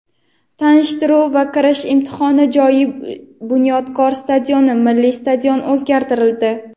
tanishtiruv va kirish imtihoni joyi "Bunyodkor" stadioniga (Milliy stadion) o‘zgartirildi.